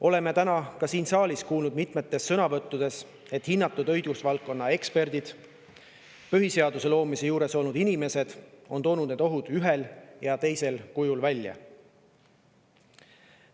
Oleme ka täna siin saalis kuulnud mitmetes sõnavõttudes, kui hinnatud õigusvaldkonna eksperdid ja põhiseaduse loomise juures olnud inimesed on toonud need ohud ühel või teisel kujul välja.